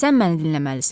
Sən məni dinləməlisən.